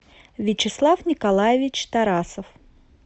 вячеслав николаевич тарасов